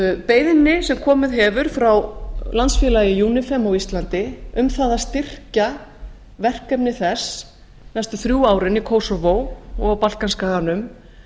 beiðni sem komið hefur frá landsfélagi unifem á íslandi um það að styrkja verkefni þess næstu þrjú árin í kósóvó og á balkanskaganum